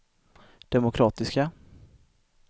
demokratiska